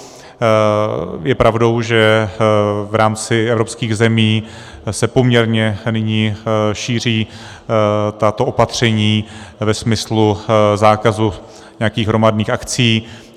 Je pravdou, že v rámci evropských zemí se poměrně nyní šíří tato opatření ve smyslu zákazu nějakých hromadných akcí.